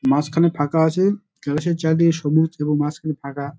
মাঝখানে ফাঁকা আছে। চারদিকে সবুজ এবং মাঝখানে ফাঁকা।